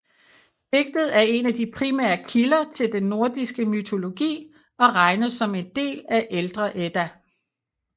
Digtet er en af de primære kilder til den nordiske mytologi og regnes som en del af ældre Edda